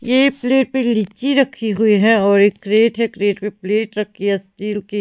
यह प्लेट पे लिची रखी हुई है और एक ट्रे है के पे प्लेट रखी है स्टील की।